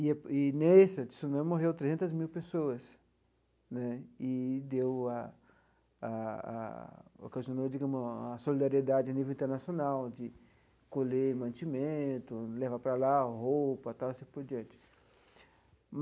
E, nesse Tsunami morreu trezentas mil pessoas né, e deu a a a ocasionou, digamos, a solidariedade a nível internacional, de colher mantimento, levar para lá roupa e tal, e assim por diante.